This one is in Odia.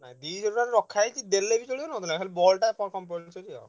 ହଁ ଦିସହ ଟଙ୍କାଟେ ରଖା ହେଇଛି ଦେଲେ ବି ଚଳିବ ନଦେଲେ ନାଇଁ ହେଲେ ball ଟା compulsory ଆଉ।